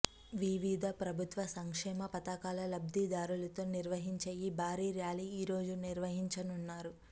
వివిధ ప్రభుత్వ సంక్షేమ పథకాల లబ్ధిదారులతో నిర్వహించే ఈ భారీ ర్యాలీ ఈ రోజు నిర్వహించనున్నారు